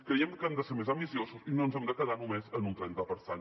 creiem que hem de ser més ambiciosos i no ens hem de quedar només en un trenta per cent